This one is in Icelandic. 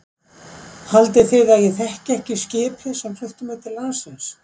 Haldið þið að ég þekki ekki skipið sem flutti mig til landsins.